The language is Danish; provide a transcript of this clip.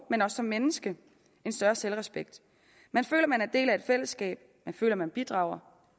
og som menneske en større selvrespekt man føler at man er en del af et fællesskab man føler at man bidrager